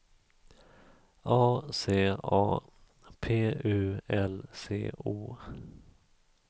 A C A P U L C O